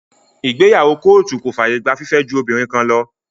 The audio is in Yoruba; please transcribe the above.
Ìgbéyàwó kóòtù kò fàyè gba fífẹ́ ju obìnrin kan lọ.